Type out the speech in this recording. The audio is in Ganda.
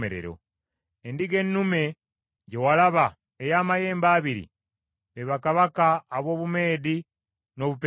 Endiga ennume gye walaba ey’amayembe abiri, be bakabaka ab’Obumeedi, n’Obuperusi.